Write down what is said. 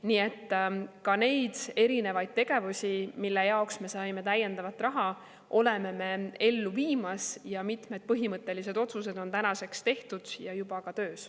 Nii et neid erinevaid tegevusi, mille jaoks me saime täiendavat raha, oleme me ellu viimas ja mitmed põhimõttelised otsused on tänaseks juba tehtud ja ka töös.